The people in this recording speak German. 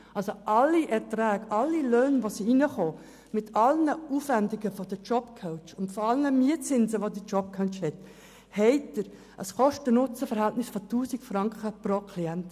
Unter Berücksichtigung aller Erträge, aller eingeflossenen Löhne, aller Aufwendungen der Jobcoachs und aller verrechneten Mietzinse erhalten Sie ein Kosten-NutzenVerhältnis von 1000 Franken pro Klient.